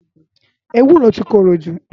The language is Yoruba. Éwúró ti kórójú